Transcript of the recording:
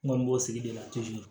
N kɔni b'o sigi de la